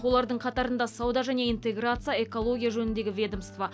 олардың қатарында сауда және интеграция экология жөніндегі ведомство